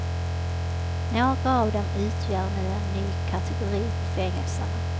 Några av dem utgör nu en ny kategori på fängelserna.